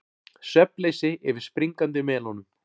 Svefnleysi yfir springandi melónum